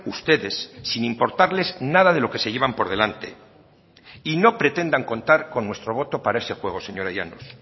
ustedes sin importarles nada de lo que se llevan por delante y no pretendan contar con nuestro voto para ese juego señora llanos